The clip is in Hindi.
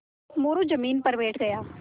मोरू ज़मीन पर बैठ गया